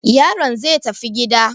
Yaron zai tafi gida.